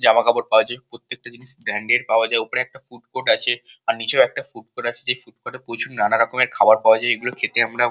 জামাকাপড় পাওয়া যায় প্রত্যেকটা জিনিস ব্র্যান্ডেড পাওয়া যায় আর ওপরে একটা ফুড কোর্ট আছে আর নিচেও একটা ফুড কোর্ট আছে যে ফুড কোর্ট এ নানান রকমের খাবার পাওয়া যায় এগুলো খেতে আমরা।